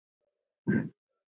GRÍMUR: Nei!